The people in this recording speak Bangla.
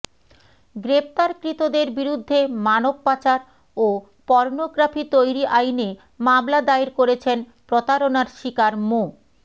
গ্রেপ্তারকৃতদের বিরুদ্ধে মানবপাচার ও পর্নোগ্রাফি তৈরি আইনে মামলা দায়ের করেছেন প্রতারণার শিকার মো